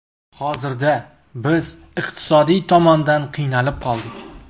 Hozirda biz iqtisodiy tomondan qiynalib qoldik.